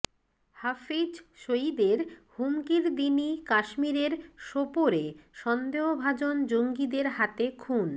হাফিজ সইদের হুমকির দিনই কাশ্মীরের সোপোরে সন্দেহভাজন জঙ্গিদের হাতে খুন